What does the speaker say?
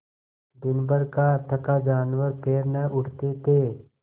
दिनभर का थका जानवर पैर न उठते थे